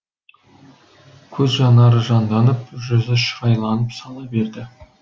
көз жанары жанданып жүзі шырайланып сала берді